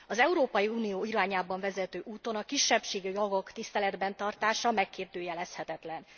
Az Európai Unió irányába vezető úton a kisebbségi jogok tiszteletben tartása megkérdőjelezhetetlen.